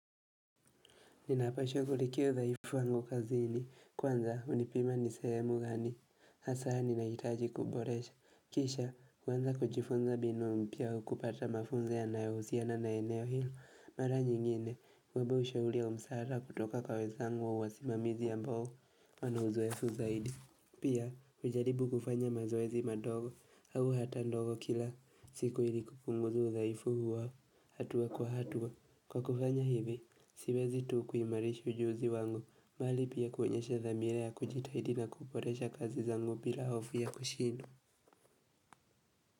Ninapo shughulikia udhaifu wangu kazini, kwanza hunipima ni sehemu gani, hasa ninahitaji kuboresha, kisha kuanza kujifunza binu mpiya au kupata mafunzo yanayehusiana na eneo hilo, mara nyingine, kuomba ushauri wa msaada kutoka kwa wenzangu wa wasimamizi ambao, wana uzoefu zaidi. Pia hujaribu kufanya mazoezi madogo au hata ndogo kila siku ili kupunguza udhaifu huwa hatua kwa hatua kwa kufanya hivi siwezi tu kuimarisha ujuzi wangu mali pia kuonyesha dhamira ya kujitahidi na kuboresha kazi zangu bila hofu ya kushindwa.